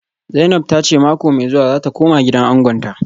Zainab ta ce mako mai zuwa za ta koma gidan angonta